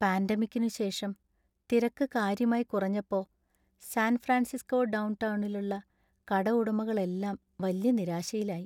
പാന്‍റമിക്കിനുശേഷം ശേഷം തിരക്ക് കാര്യമായി കുറഞ്ഞപ്പോ, സാൻ ഫ്രാൻസിസ്കോ ഡൗൺ ടൗണിലുള്ള കടഉടമകളെല്ലാം വല്യ നിരാശയിലായി.